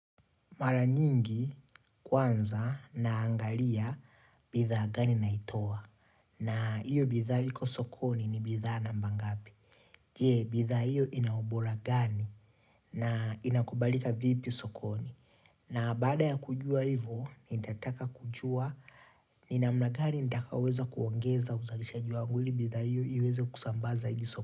Mara nyingi kwanza naangalia bidhaa gani naitoa. Na iyo bidhaa hiko sokoni ni bidhaa namba ngapi. Jee, bidhaa hiyo inaubora gani na inakubalika vipi sokoni. Na baada ya kujua hivo, nitataka kujua, ni namna gani nitakaoweza kuongeza uzalishaji wangu ili bidhaa hiyo iweze kusamba zaidi sokoni.